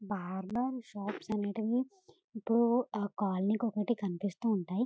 Barber shops అనేటివే ఎప్పుడు అ కాలనీ కి ఒక్కటి కనిపిస్తూ ఉంటాయి.